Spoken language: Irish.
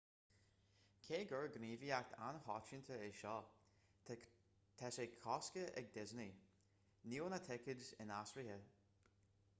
cé gur gníomhaíocht an-choitianta é seo tá sé coiscthe ag disney níl na ticéid inaistrithe